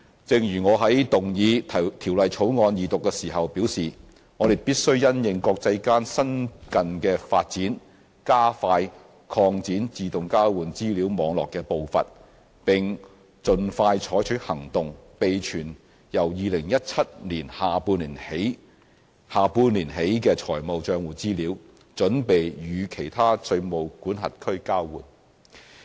正如我在動議《條例草案》二讀時表示，我們必須因應國際間新近的發展，加快擴展自動交換資料網絡的步伐，並盡快採取行動，備存由2017年下半年起的財務帳戶資料，準備與其他稅務管轄區交換。